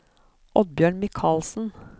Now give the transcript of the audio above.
Oddbjørn Mikalsen